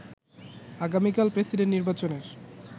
আগামীকাল প্রেসিডেন্ট নির্বাচনের